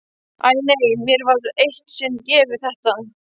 Æi nei, mér var eitt sinn gefið þetta.